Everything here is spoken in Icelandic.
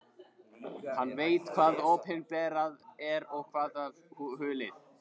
Hann veit hvað opinberað er og hvað hulið.